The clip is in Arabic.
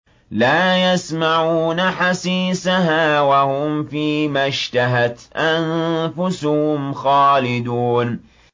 لَا يَسْمَعُونَ حَسِيسَهَا ۖ وَهُمْ فِي مَا اشْتَهَتْ أَنفُسُهُمْ خَالِدُونَ